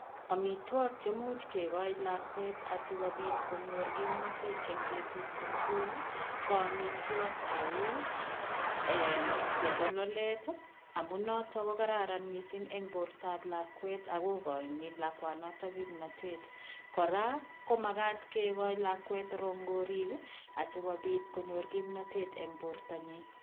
Amitwogik che much kigoi lakwet asigopit konyor kimnatet eng betut komugul ko amitwok cheu, chebololet amu noto ko kararan mising eng bortab lakwet ago igoini kakwanoto kimnatet. Kora ko magat kegoi lakwet rongorik asigopit konyor kimnatet eng bortonyi.